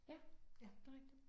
Ja det er rigtigt